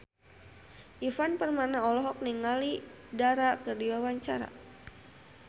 Ivan Permana olohok ningali Dara keur diwawancara